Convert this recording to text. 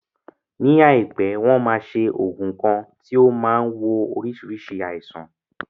Ní àìpé, wọn máa ṣe oògùn kan tí ó máa wo oríṣiríṣi aisan